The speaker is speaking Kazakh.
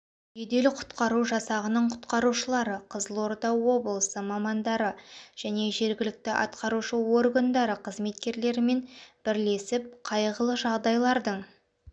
жедел құтқару жасағының құтқарушылары қызылорда облысы мамандары және жергілікті атқарушы органдары қызметкерлерімен бірлесіп қайғылы жағдайлардың